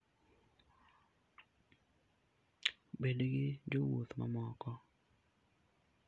Bed gi jowuoth mamoko.